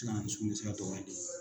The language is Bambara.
Gilan muso ma se la dan o ma de